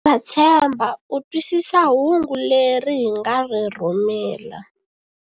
Ndza tshemba u twisisa hungu leri hi nga ri rhumela.